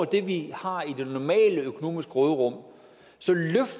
det vi har i det normale økonomiske råderum